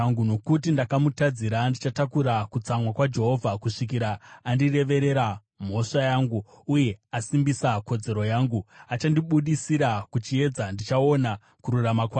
Nokuti ndakamutadzira, ndichatakura kutsamwa kwaJehovha, kusvikira andireverera mhosva yangu uye asimbisa kodzero yangu. Achandibudisira kuchiedza, ndichaona kururama kwake.